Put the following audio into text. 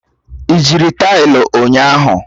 Ị jiri taịlị ụnyahụ?